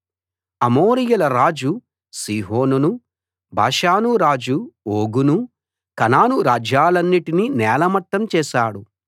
అమోరీయుల రాజు సీహోనును బాషాను రాజు ఓగును కనాను రాజ్యాలన్నిటినీ నేలమట్టం చేశాడు